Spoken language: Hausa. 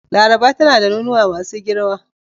Laraba tana da nonuwa masu girma.